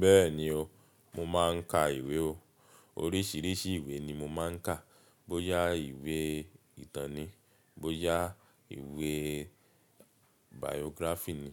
Bẹ́ẹ̀ni o, mo máa ń ka ìwé o. Oríṣiríṣi ìwé ni mo máa ń kà; bóyá ìwé ìtàn ni, bóyá ìwé biography ni,